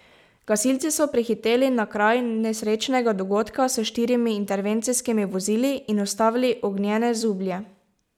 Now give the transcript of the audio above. Gasilci so prihiteli na kraj nesrečnega dogodka s štirimi intervencijskimi vozili in ustavili ognjene zublje.